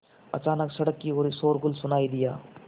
अचानक सड़क की ओर शोरगुल सुनाई दिया